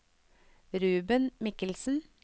Ruben Michelsen